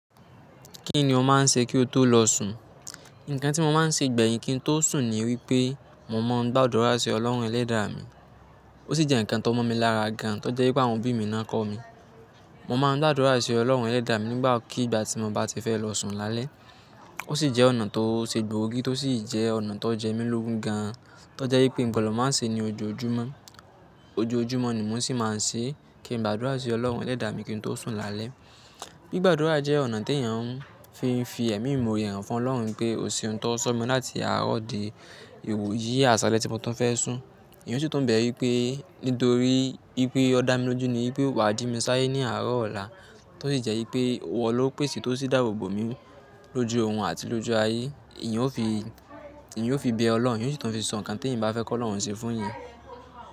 Kí ni o máa ń se kí o tó lọ sùn? Ǹkan tí mo máa ń se gbẹ̀yìn kí n tó sùn ni wípé mo máa ń gba àdúrà sí Ọlọ́run Ẹlẹ́dàá mi. Ó sì jẹ́ ǹkan tó mọ́ mi lára gan an to jẹ́ wípé àwọn òbí mi náà kọ́ mi. Mo máa ń gba àdúrà sí Ọlọ́run Ẹlẹ́dàá mi nígbàkigbà tí mo bá ti fẹ́ lọ sùn lálẹ́. Ó sì jẹ́ ọ̀nà tó ṣe gbòógì, tó sì jẹ́ ọ̀nà tó jẹ mí lógún gan an to jẹ́ wípé ngbọdọ máa ń se ní ojoojúmọ́. Ojoojúmọ́ ni mò ń sì máa ń se kí n gba àdúrà sí Ọlọ́run Ẹlẹ́dàá mi kí n tó sùn lálẹ́. Gbigba àdúrà jẹ́ ọ̀nà t'èyàn ń fi fi ẹ̀mí ìmore han fún Ọlọ́run pé o seun tọ sọ mi láti àárọ̀ di iwo yí àsàlẹ̀ tí mo tún fẹ́ sùn. Èèyàn sì tu n bẹ̀ wípé nítorí wípé ọ dá mi lójú ní wípé wà á ji mi sáye ní àárọ̀ ọ̀la, tó sì jẹ́ wípé iwọ lo pèsè tó sì dáàbòbò mi lójú orun àti lójú ayé. Eyan ò fi, eyan ò fi bẹ Ọloun, èèyàn o sì tun fi sọ ǹkan tí èèyàn bá fẹ́ kọ́ Ọloun ṣe fún ìyẹn.